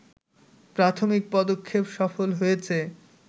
প্রাথমিক পদক্ষেপ সফল হয়েছে